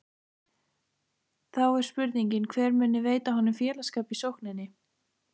Þá er spurningin hver muni veita honum félagsskap í sókninni?